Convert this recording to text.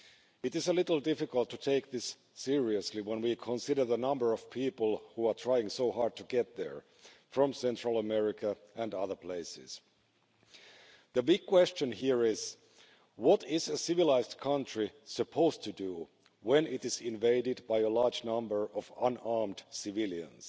It is a little difficult to take this seriously when we consider the number of people who are trying so hard to get there from Central America and other places. The big question here is what is a civilised country supposed to do when it is invaded by a large number of unarmed civilians?